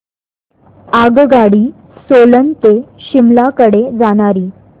आगगाडी सोलन ते शिमला कडे जाणारी